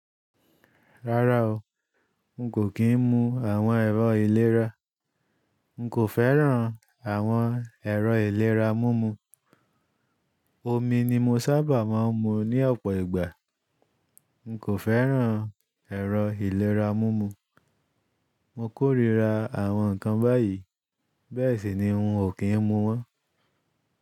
Rárá o, n kò kí n mu àwọn ẹ̀rọ ìlera. N kò fẹ́ràn àwọn ẹ̀rọ ìlera mumu. Omi ni mo sábà máa ń mu ní ọ̀pọ̀ ìgbà. N kò fẹ́ràn ẹ̀rọ ìlera mumu. Mo kórira àwọn nǹkan báyìí, bẹ́ẹ̀ sì ni n ò kí n mu wọn.